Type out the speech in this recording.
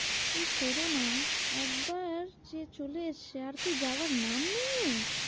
Corona একবার যে চলে এসেছে আর কি যাওয়ার নাম নেই এর